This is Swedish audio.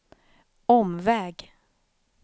omväg